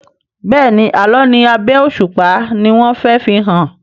Béèni Àlọ ní abé òṣùpá ní wón fè fihàn.